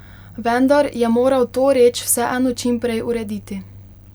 Vendar je moral to reč vseeno čim prej urediti.